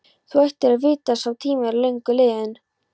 Þú ættir að vita að sá tími er löngu liðinn.